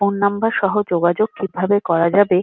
phone number সহ যোগাযোগ কিভাবে করা যাবে-এ--